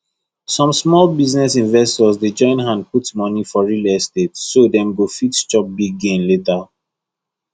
some small investors dey join hand put money for real estate so dem go fit chop big gain later